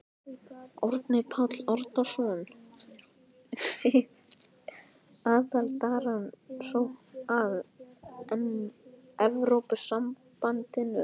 Árni Páll Árnason: Við aðildarumsókn að Evrópusambandinu?